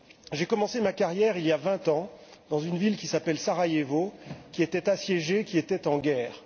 J'ai commencé ma carrière il y a vingt ans, dans une ville qui s'appelle Sarajevo, qui était assiégée, qui était en guerre.